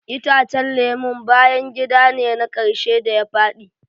Itacen lemun bayan gida ne na karshe da ya fadi.